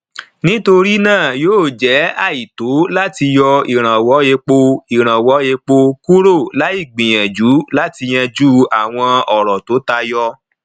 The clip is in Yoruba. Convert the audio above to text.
nítorí náà yóò jẹ àìtọ láti yọ ìrànwọ epo ìrànwọ epo kúrò láì gbìyànjú láti yanjú àwọn ọrọ tó tayọ